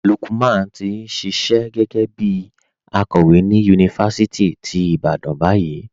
Lúkman ti n ṣíṣẹ̀ gé̩gẹ̩ bí àkòwé ni yunifásítì tí Ìbàdàn bayìí.